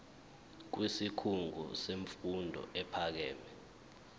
kwisikhungo semfundo ephakeme